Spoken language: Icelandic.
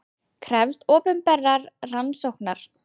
Krefst opinberrar rannsóknar